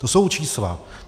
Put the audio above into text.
To jsou čísla.